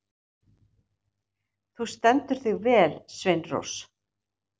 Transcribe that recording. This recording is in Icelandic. Þú stendur þig vel, Sveinrós!